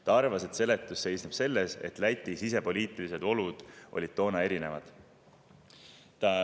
Ta arvas, et seletus seisneb selles, et Läti sisepoliitilised olud olid toona erinevad.